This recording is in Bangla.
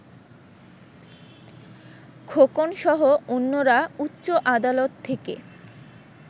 খোকনসহ অন্যরা উচ্চ আদালত থেকে